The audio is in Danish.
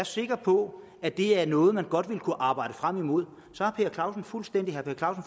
sikker på at det er noget man godt vil kunne arbejde frem imod så har herre per clausen fuldstændig ret når